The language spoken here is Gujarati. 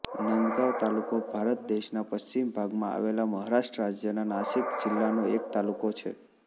નાંદગાંવ તાલુકો ભારત દેશના પશ્ચિમ ભાગમાં આવેલા મહારાષ્ટ્ર રાજ્યના નાસિક જિલ્લાનો એક તાલુકો છે